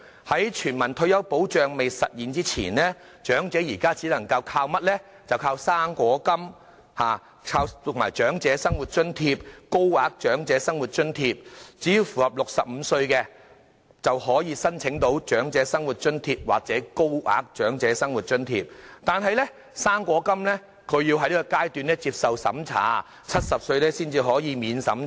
在全民退休保障未實施前，長者現時只能依靠"生果金"、長者生活津貼或高額長者生活津貼，年滿65歲者可以申請長者生活津貼或高額長者生活津貼，但"生果金"則要長者接受資產審查，要年滿70歲才可以免資產審查。